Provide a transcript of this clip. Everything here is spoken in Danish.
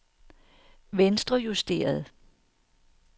venstrejusteret